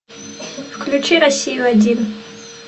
включи россию один